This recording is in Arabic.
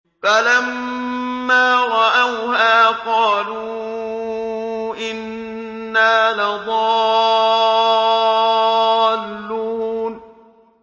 فَلَمَّا رَأَوْهَا قَالُوا إِنَّا لَضَالُّونَ